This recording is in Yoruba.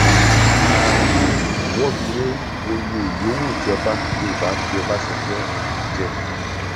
a um wọgilé oyè yọwù tí ọba yọrùbà fi ọbànṣánjọ um jẹ